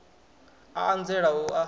a a nzela u a